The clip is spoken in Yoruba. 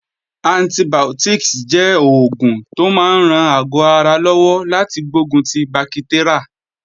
Antibiotics jẹ́ oògùn tó máa ń ran àgọ́ ara lọ́wọ́ láti gbógun ti bakitérà.